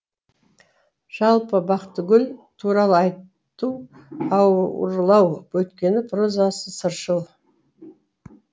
жалпы бақытгүл туралы айту ауырлау өйткені прозасы сыршыл